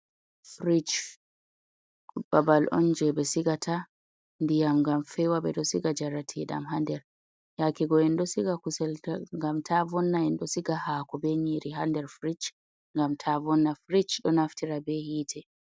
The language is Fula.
fridge babal on je ɓe sigata ndiyam ngam fewa ɓeɗo siga njarat dam hander, yake go en dosiga kusel ngam ta vonna en ɗo siga hako be nyiri hander fridge ngam ta vonna fridge ɗon naftira be yite.